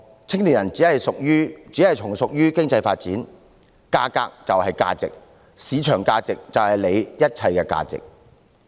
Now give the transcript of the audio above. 青年人只是從屬於經濟發展，價格便是價值，市場價值便是他們一切的價值。